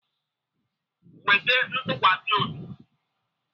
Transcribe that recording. Nwee ntukwasi obi!